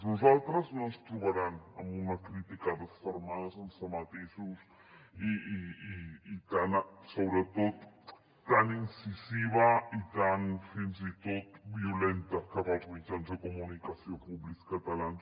a nosaltres no ens trobaran en una crítica desfermada sense matisos i sobretot tan incisiva i tan fins i tot violenta cap als mitjans de comunicació públics catalans